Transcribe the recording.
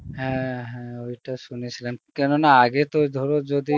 হ্যাঁ হ্যাঁ ঐটা সুনেছিলাম কেন না আগে তো ধর যদি